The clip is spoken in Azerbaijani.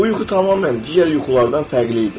Bu yuxu tamamilə digər yuxulardan fərqli idi.